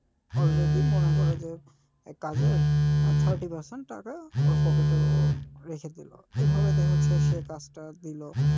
already মনে করো যে এ কাজের thirty percent টাকা ওর pocket এ ও রেখে দিলো এভাবে দেখা যাচ্ছে যে সে এই কাজটা নিলো,